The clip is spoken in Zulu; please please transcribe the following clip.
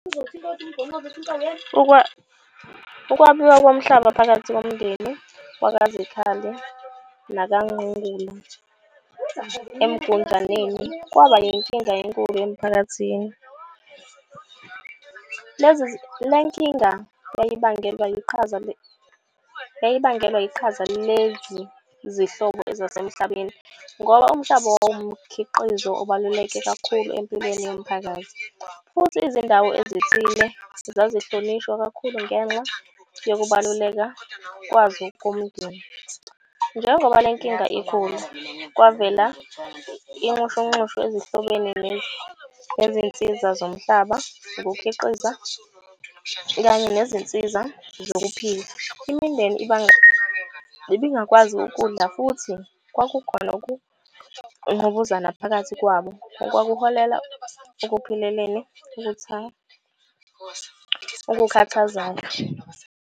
Ukwabiwa komhlaba phakathi komndeni wakaZikhali nakaNgqungulu eMgunjaneni kwaba inkinga enkulu emphakathini. Le nkinga yayibangelwa iqhaza ezasemhlabeni. Ngoba umhlaba wawumkhiqizo obaluleke kakhulu empilweni yomphakathi. Futhi izindawo ezithile zazihlonishwa kakhulu ngenxa yokubaluleka kwazo komndeni. Njengoba le nkinga ikhula, kwavela inxushunxushu ezihlobeni nezinsiza zomhlaba, ukukhiqiza kanye nezinsiza zokuphila. Imindeni ibingakwazi ukudla futhi kwakukhona ukungqubuzana phakathi kwabo. Okwakuholela ekuphileleni ukukhathazana.